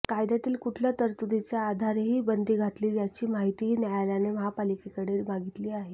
कायद्यातील कुठल्या तरतुदीच्या आधारे ही बंदी घातली त्याची माहितीही न्यायालयाने महापालिकेकडे मागितली आहे